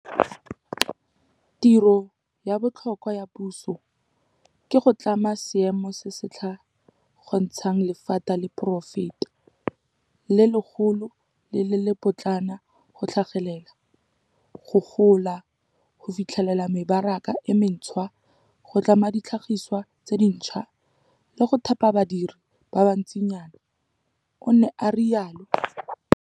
"Tiro ya botlhokwa ya puso ke go tlhama seemo se se tla kgontshang lephata la poraefete - le legolo le le le potlana go tlhagelela, go gola, go fitlhelela mebaraka e mentšhwa, go tlhama ditlhagiswa tse dintšhwa, le go thapa badiri ba bantsinyana," o ne a rialo.